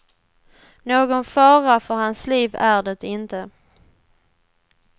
Någon fara för hans liv är det inte.